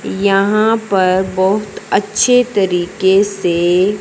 यहां पर बहुत अच्छे तरीके से--